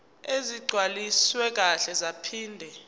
ezigcwaliswe kahle zaphinde